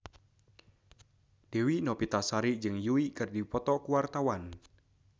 Dewi Novitasari jeung Yui keur dipoto ku wartawan